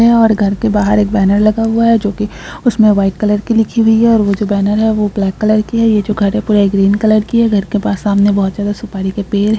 और घर के बाहर एक बैनर लगा हुआ है जो कि उसमें व्हाइट कलर की लिखी हुई है और जो बैनर है वो ब्लैक की कलर की है यह जो घर है वह ग्रीन कलर की है घर के सामने बहुत सारे सुपारी के पेड़ हैं।